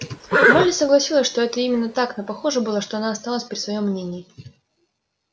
молли согласилась что это именно так но похоже было что она осталась при своём мнении